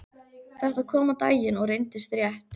Þetta kom á daginn og reyndist rétt.